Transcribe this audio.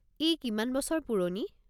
ই কিমান বছৰ পুৰণি?